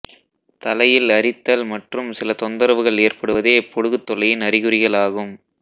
தலையில் அரித்தல் மற்றும் சில தொந்தரவுகள் ஏற்படுவதே பொடுகுத் தொல்லையின் அறிகுறிகளாகும்